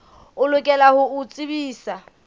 o lokela ho o tsebisa